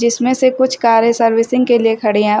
इसमें से कुछ कारे सर्विसिंग के लिए खड़ी है।